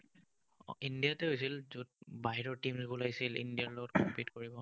ইণ্ডিয়াতে হৈছিলে, যত বাহিৰৰ teams বোৰ আহিছিল, ইণ্ডিয়াৰ লগত compete কৰিব।